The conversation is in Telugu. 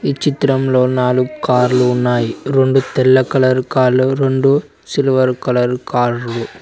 ఈ చిత్రంలో నాలుగ్ కార్లు ఉన్నాయి రెండు తెల్ల కలర్ కార్లు రెండు సిల్వర్ కలర్ కార్లు .